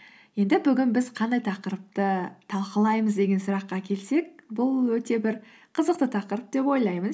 енді бүгін біз қандай тақырыпты талқылаймыз деген сұраққа келсек бұл өте бір қызықты тақырып деп ойлаймын